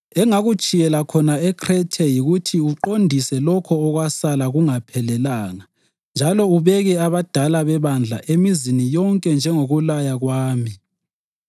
Engakutshiyela khona eKhrethe yikuthi uqondise lokho okwasala kungaphelanga njalo ubeke abadala bebandla emizini yonke njengokukulaya kwami.